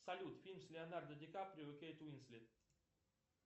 салют фильм с леонардо ди каприо и кейт уинслет